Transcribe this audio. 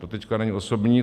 To teď není osobní.